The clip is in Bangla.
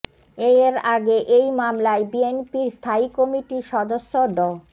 এর আগে এই মামলায় বিএনপির স্থায়ী কমিটির সদস্য ড